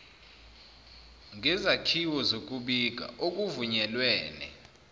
ngezakhiwo zokubika okuvunyelwene